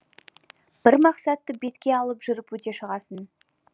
бір мақсатты бетке алып жүріп өте шығасың